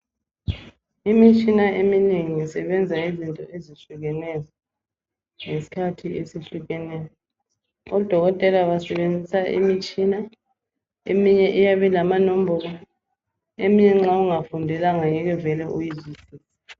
Imitshina eminengi isebenza izinto ezitshiyeneyo ngesikhathi esihlukeneyo. Odokotela basebenzisa imitshina eminye iyabe ilamanombolo eminye nxa ungayifundelanga angeke vele uyizwisise.